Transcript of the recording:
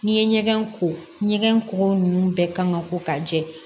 N'i ye ɲɛgɛn ko ɲɛgɛn kɔgɔ ninnu bɛɛ kan ka ko ka jɛ